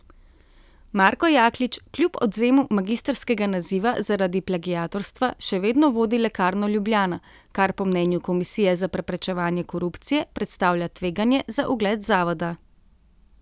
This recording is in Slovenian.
Marko Jaklič kljub odvzemu magistrskega naziva zaradi plagiatorstva še vedno vodi Lekarno Ljubljana, kar po mnenju Komisije za preprečevanje korupcije predstavlja tveganje za ugled zavoda.